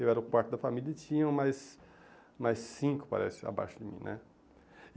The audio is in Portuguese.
Eu era o quarto da família e tinham mais mais cinco, parece, abaixo de mim, né?